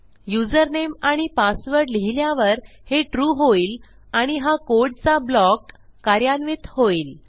username आणि password लिहिल्यावर हे ट्रू होईल आणि हा कोडचा ब्लॉक कार्यान्वित होईल